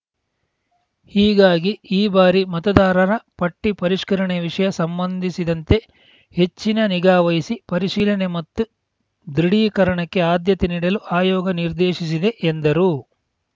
ಹೀಗಾಗಿ ಈ ಬಾರಿ ಮತದಾರರ ಪಟ್ಟಿಪರಿಷ್ಕರಣೆ ವಿಷಯ ಸಂಬಂಧಿಸಿದಂತೆ ಹೆಚ್ಚಿನ ನಿಗಾ ವಹಿಸಿ ಪರಿಶೀಲನೆ ಮತ್ತು ದೃಢೀಕರಣಕ್ಕೆ ಆದ್ಯತೆ ನೀಡಲು ಆಯೋಗ ನಿರ್ದೇಶಿಸಿದೆ ಎಂದರು